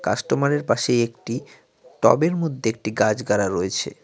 কাস্টমারের পাশেই একটি টবের মধ্যে একটি গাছ গাড়া রয়েছে।